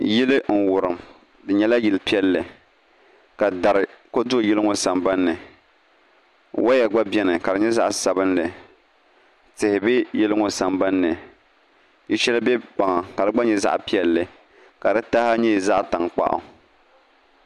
Yili n wurim di nyɛla yili piɛlli ka dari ku do yili ŋɔ sambanni woya gba biɛni ka di nyɛ zaɣ sabinli tihi bɛ yili ŋɔ sambanni yili shɛli bɛ kpaŋa ka di gba nyɛ zaɣ piɛlli ka di taha nyɛ zaɣ tankpaɣu